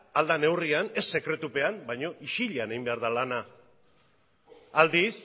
ahal den neurrian ez sekretupean baina isilean egin behar da lana aldiz